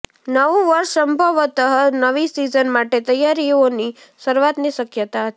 નવું વર્ષ સંભવતઃ નવી સીઝન માટે તૈયારીઓની શરૂઆતની શક્યતા હતી